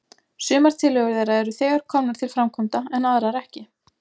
Sumar tillögur þeirra eru þegar komnar til framkvæmda, en aðrar ekki.